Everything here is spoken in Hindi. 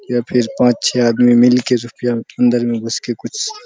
या फिर पाँच छै आदमी मिल के जो कि अंदर में घुस के कुछ --